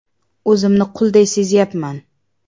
O‘zimni qulday sezyapman.